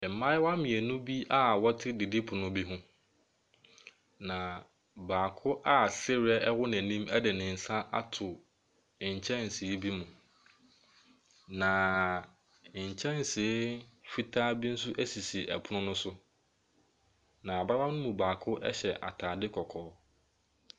Mmaayewa mmienu bi a ɔte didipono bi ho. Na baako a sereɛ ɛwɔ n'anim ɛde ne nsa ato nkyɛnse bi mu. Na nkyɛnse fitaa bi ɛnso esisi ɛpono no so. Na abaayewa no mu baako ɛhyɛ ataade kɔkɔɔ.